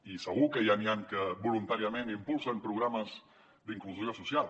i segur que ja n’hi han que voluntàriament impulsen programes d’inclusió social